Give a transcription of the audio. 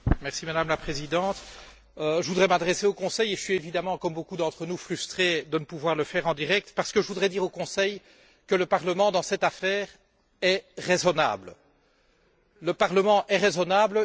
Madame la Présidente, je voudrais m'adresser au Conseil et je suis évidemment, comme beaucoup d'entre nous, frustré de ne pouvoir le faire en direct parce que je voudrais dire au Conseil que le Parlement, dans cette affaire, est raisonnable.